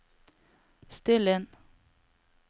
still inn